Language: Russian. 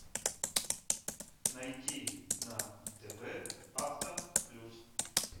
найти на тв авто плюс